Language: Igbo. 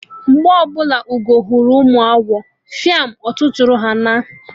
Mgbe ọbụla Ugo hụrụ ụmụ agwọ, fiam! Ọtụtụrụ ha naa!